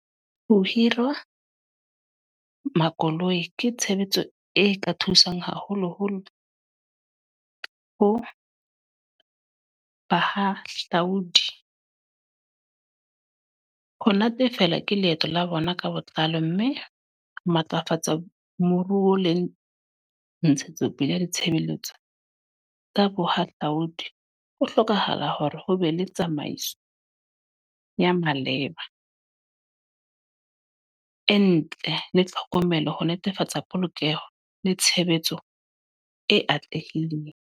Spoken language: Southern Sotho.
Ho hirwa makoloi ke tshebetso e ka thusang haholo-holo ho bahahlaudi. Ho natefelwa ke leeto la bona ka botlalo. Mme matlafatsa moruo le ntshetsopele ya ditshebeletso, ka bohahlaudi. Ho hlokahala hore ho be le tsamaiso ya maleba, e ntle le tlhokomelo. Ho netefatsa polokeho le tshebetso e atlehileng.